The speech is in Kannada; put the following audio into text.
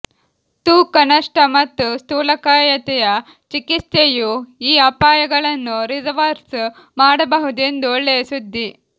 ತೂಕ ನಷ್ಟ ಮತ್ತು ಸ್ಥೂಲಕಾಯತೆಯ ಚಿಕಿತ್ಸೆಯು ಈ ಅಪಾಯಗಳನ್ನು ರಿವರ್ಸ್ ಮಾಡಬಹುದು ಎಂದು ಒಳ್ಳೆಯ ಸುದ್ದಿ